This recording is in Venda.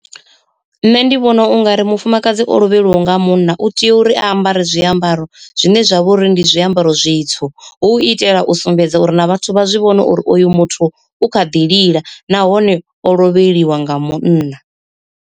Nṋe ndi vhona ungari mufumakadzi o lovheliwa nga munna u tea uri a ambare zwiambaro zwine zwa vha uri ndi zwiambaro zwitswu, hu u itela u sumbedza uri na vhathu vha zwi vhone uri oyu muthu u kha ḓi lila nahone o lovheliwa nga munna.